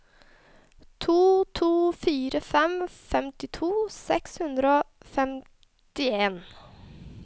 to to fire fem femtito seks hundre og femtien